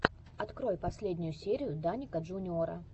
открой последнюю серию даника джуниора